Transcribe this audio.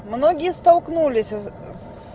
многие столкнулись из